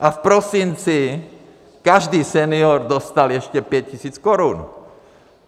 A v prosinci každý senior dostal ještě 5 tisíc korun.